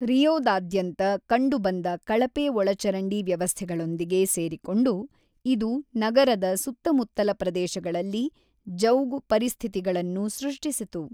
ರಿಯೋದಾದ್ಯಂತ ಕಂಡುಬಂದ ಕಳಪೆ ಒಳಚರಂಡಿ ವ್ಯವಸ್ಥೆಗಳೊಂದಿಗೆ ಸೇರಿಕೊಂಡು, ಇದು ನಗರದ ಸುತ್ತಮುತ್ತಲ ಪ್ರದೇಶಗಳಲ್ಲಿ ಜೌಗು ಪರಿಸ್ಥಿತಿಗಳನ್ನು ಸೃಷ್ಟಿಸಿತು.